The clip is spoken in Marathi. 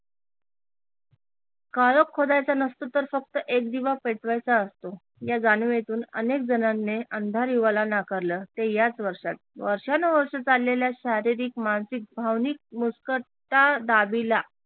काळोख खोदायचा नसतो तर फक्त एक दिवा पेटवायचा असतो या जाणिवेतून अनेक जणांनी अंधार युगाला नाकारल ते याच वर्षात वर्षानुवर्ष चाललेल्या शारीरिक, मानसिक, भावनिक मुस्कटादाबीला